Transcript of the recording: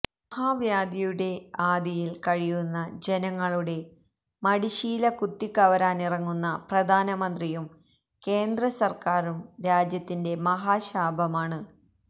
മഹാവ്യാധിയുടെ ആധിയിൽ കഴിയുന്ന ജനങ്ങളുടെ മടിശീല കുത്തിക്കവരാനിറങ്ങുന്ന പ്രധാനമന്ത്രിയും കേന്ദ്രസർക്കാരും രാജ്യത്തിന്റെ മഹാശാപമാണ്